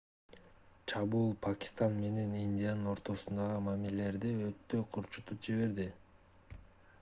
чабуул пакистан менен индиянын ортосундагы мамилелерди өтө курчутуп жиберди